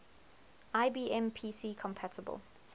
ibm pc compatible